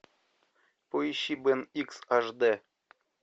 поищи бен икс аш д